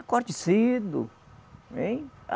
Acorde cedo. Ein